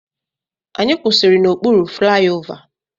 Anyị kwụsịrị n'okpuru flaiova.